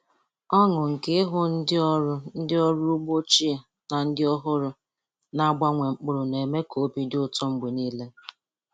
Ọṅụ nke ịhụ ndị ọrụ ndị ọrụ ugbo ochie na ndị ọhụrụ na-agbanwe mkpụrụ na-eme ka obi dị ụtọ mgbe niile.